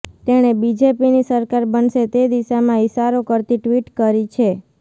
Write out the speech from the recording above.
તેણે બીજેપીની સરકાર બનશે તે દિશામાં ઈશારો કરતી ટ્વિટ કરી છે